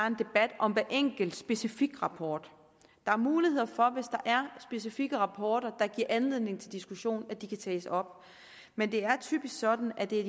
en debat om hver enkelt specifik rapport der er mulighed for hvis der er specifikke rapporter der giver anledning til diskussion at de kan tages op men det er typisk sådan at det er